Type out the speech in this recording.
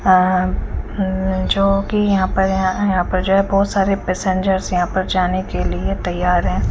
हा हम्म जोकि यहाँ पर है यहाँ पर जो है बहोत सारे पेसेंजर यहाँ पर जाने के लिए तयार है।